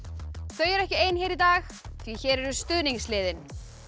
þau eru ekki ein hér í dag því hér eru stuðningsliðin